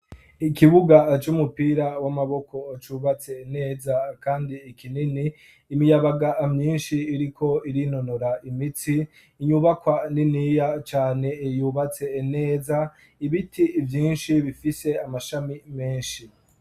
Ikibuga c'umupira w'amaboko cubatse neza kandi kinini, imiyabaga myinshi iriko irinonora imitsi, inyubakwa niniya cane yubatse neza, ibiti vyinshi bifise amashami menshi.